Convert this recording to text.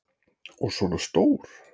Og svona stór!